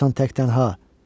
Qalacaqsan tək tənha.